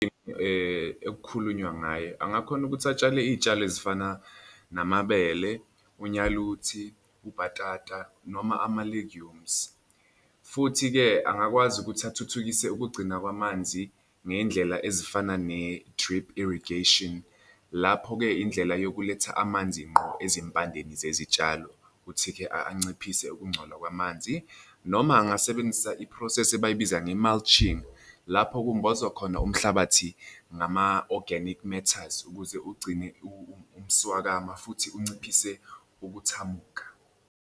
Ekukhulunywa ngaye, angakhona ukuthi atshale iy'tshalo ezifana namabele, unyaluthi, ubhatata noma ama-legumes, futhi-ke angakwazi ukuthi athuthukise ukugcina kwamanzi ngey'ndlela ezifana ne-drip irrigation lapho-ke indlela yokuletha amanzi ngqo ezimpandeni zezitshalo, futhi-ke anciphisa ukungcola kwamanzi, noma angasebenzisa i-process ebayibiza nge-mulching. Lapho kumbozwa khona umhlabathi ngama-organic matters ukuze ugcine umswakamo futhi unciphise ukuthamuka.